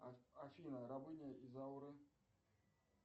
а афина рабыня изаура